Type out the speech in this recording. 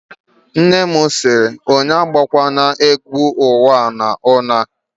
Nne m si, onye abụ kwala egwú uwa n'ulo a!